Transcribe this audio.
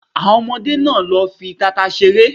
Àwọn ọmọdé máa lọ fi tata ṣeré